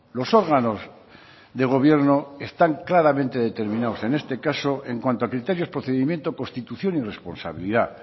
los órganos de gobierno están claramente determinados en este caso en cuanto a criterios procedimiento constitución y responsabilidad